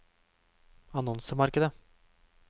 annonsemarkedet